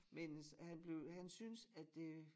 Mens han blev han synes at det